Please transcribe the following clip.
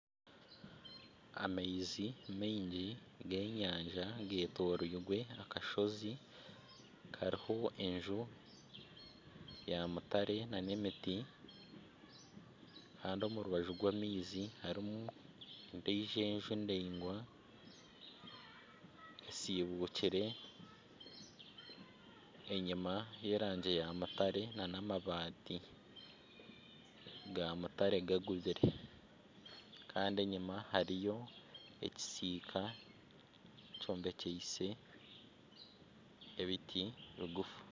Amaizi maingi ,g'enyaja getoreirwe akasozi ,hariho enju ya mutare nana emiti Kandi omu rubaju rw'amaizi harimu endiijo enju ndaingwa esiibukire enyuma neyerangi ya mutare nana amabaati ga mutare gagubire Kandi enyuma hariyo ekisiika kyombekiise ebiti bigufu.